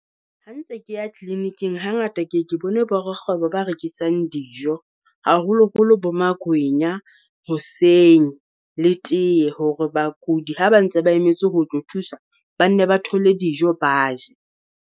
Ha ntse ke ya clinic-ng hangata ke e ke bone ba rakgwebo ba rekisang dijo. Haholoholo bo magwenya hoseng le tee hore bakudi ha ba ntse ba emetse ho tlo thusa ba nne ba thole dijo ba je.